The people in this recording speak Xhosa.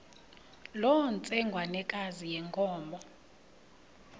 loo ntsengwanekazi yenkomo